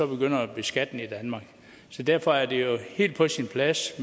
begynder at beskatte den i danmark derfor er det jo helt på sin plads